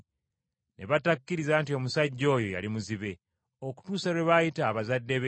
Ne batakkiriza nti omusajja oyo yali muzibe, okutuusa lwe baayita abazadde be,